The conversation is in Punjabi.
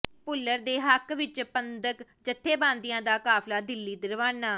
ਭੁੱਲਰ ਦੇ ਹੱਕ ਵਿੱਚ ਪੰਥਕ ਜਥੇਬੰਦੀਆਂ ਦਾ ਕਾਫ਼ਲਾ ਦਿੱਲੀ ਰਵਾਨਾ